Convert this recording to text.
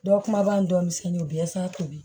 Dɔw kuma b'an tɔmisɛnninw bɛɛ sa tobi